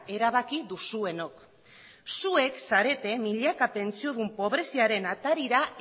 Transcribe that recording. erabaki duzuenok zuek zarete milaka pentsiodun pobreziaren atarira